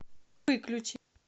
выключи